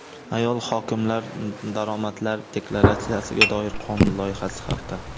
Ayol hokimlar daromadlar deklaratsiyasiga doir qonun loyihasi haqida.